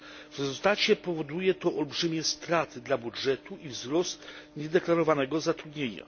W rezultacie powoduje to olbrzymie straty dla budżetu i wzrost niedeklarowanego zatrudnienia.